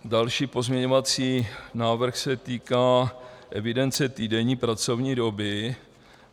Další pozměňovací návrh se týká evidence týdenní pracovní doby.